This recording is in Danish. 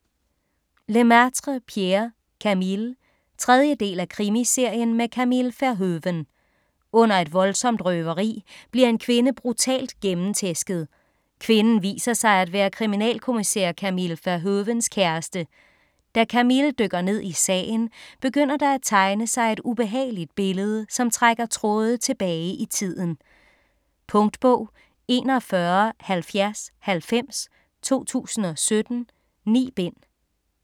Lemaitre, Pierre: Camille 3. del af Krimiserien med Camille Verhoeven. Under et voldsomt røveri bliver en kvinde brutalt gennemtæsket. Kvinden viser sig at være kriminalkommissær Camille Verhoevens kæreste. Da Camille dykker ned i sagen, begynder der at tegne sig et ubehageligt billede, som trækker tråde tilbage i tiden. Punktbog 417090 2017. 9 bind.